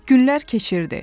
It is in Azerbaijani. Günlər keçirdi.